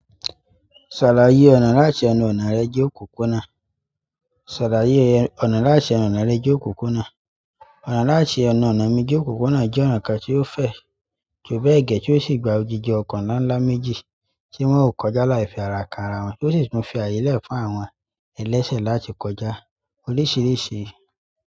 Ṣàlàyé ọ̀nà láti ẹnu ọ̀nà rẹ de òpópónà. Ṣàlàyé ọ̀nà láti ẹnu ọ̀nà rẹ de òpópónà. Ọ̀nà láti ẹnu ọ̀nà mi de ópópónà jẹ́ ọ̀nà kan tí ó fẹ̀, ju bẹ́ẹ̀ gẹ́ tí ó sì gba odidi ọkọ̀ ńlá ńlá méjì tí wọ́n ó kọjá láì fi ara ka ara wọn, tí ó sì tún fi àyè lẹ̀ fún àwọn ẹlẹ́sẹ̀ láti kọjá oríṣiríṣi.